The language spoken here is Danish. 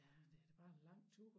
Ja men det er da bare en lang tur